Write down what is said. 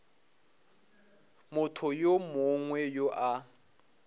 motho yo mongwe yo a